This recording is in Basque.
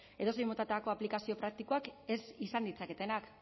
edozein motatako aplikazio praktikoak ez izan ditzaketenak